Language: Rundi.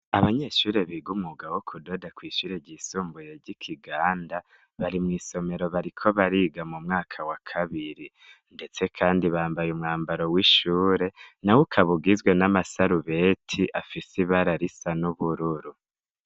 Abanyeshuri biga umuga bo kudoda akwishurije isumbuye ry'ikiganda bari mw'isomero bariko bariga mu mwaka wa kabiri, ndetse, kandi bambaye umwambaro w'ishure na wo ukabugizwe n'amasarubeti afise i bararisa n'ubururu.